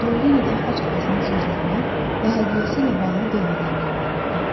İndi o yenə də xaç atasının sözlərinə və hədiyyəsi ilə bağlı dediklərinə inanırdı.